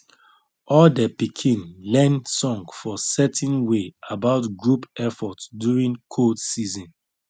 all de pikin learn song for certain way about group effort during cold season